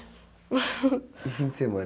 E fim de semana?